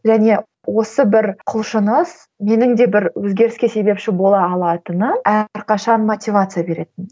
және осы бір құлшыныс менің де бір өзгеріске себепші бола алатыным әрқашан мотивация беретін